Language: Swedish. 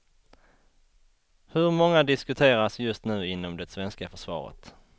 Hur många diskuteras just nu inom det svenska försvaret.